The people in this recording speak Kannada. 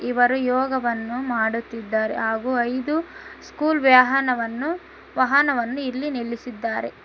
ಇವರು ಯೋಗವನ್ನು ಮಾಡುತ್ತಿದ್ದಾರೆ ಹಾಗು ಐದು ಸ್ಕೂಲ್ ವ್ಯಾಹನವನ್ನು ವಾಹನವನ್ನು ಇಲ್ಲಿ ನಿಲ್ಲಿಸಿದ್ದಾರೆ.